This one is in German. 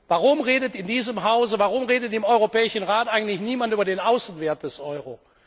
Warum redet in diesem Hause, warum redet im Europäischen Rat eigentlich niemand über den Außenwert des Euro?